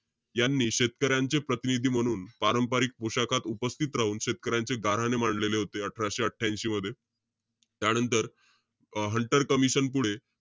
यांनी शेतकऱ्यांचे प्रतिनिधी म्हणून पारंपरिक पोशाखात उपस्थित राहून शेतकऱ्यांचे गाऱ्हाणे मांडलेले होते, अठराशे अठ्ठयांशी मध्ये. त्यानंतर, हंटर कमिशन पुढे,